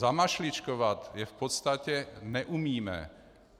Zamašličkovat je v podstatě neumíme.